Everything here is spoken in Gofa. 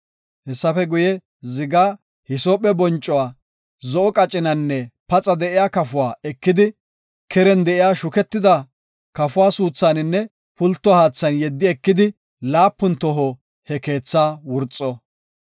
Hessafe guye, zigaa, hisoophe boncuwa, zo7o qacinanne paxa de7iya kafuwa ekidi, keren de7iya shuketida kafuwa suuthaninne pulto haathan yeddi ekidi laapun toho he keethaa wurxo.